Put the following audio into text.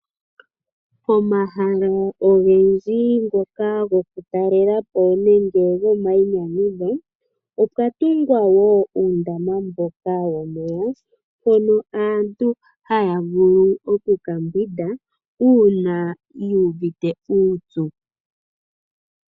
Omahala ogendji ngoka go kutalelapo nenge gomainyanyudho, opwa tungwa uundamaba mboka womeya, mpono aantu taya vulu oku ya ka mbwide uuna yu uvite uupyu.